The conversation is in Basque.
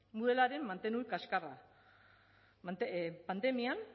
moodlearen mantenu kaskarra pandemian